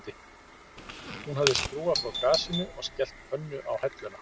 Hún hafði skrúfað frá gasinu og skellt pönnu á helluna